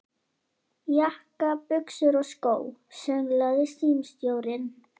Jakka, buxur og skó, sönglaði símstjórinn.